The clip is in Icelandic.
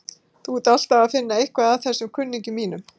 Þú ert alltaf að finna eitthvað að þessum kunningjum mínum.